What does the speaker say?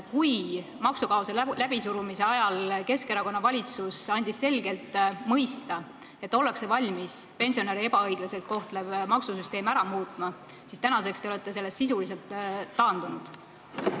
Kui maksukaose läbisurumise ajal andis Keskerakonna valitsus selgelt mõista, et ollakse valmis pensionäre ebaõiglaselt kohtlevat maksusüsteemi muutma, siis tänaseks te olete sellest sisuliselt taandunud.